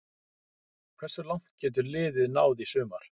Hversu langt getur liðið náð í sumar?